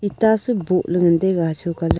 tasu bohley ngan taiga hasho colour --